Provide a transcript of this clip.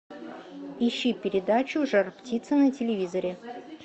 ищи передачу жар птица на телевизоре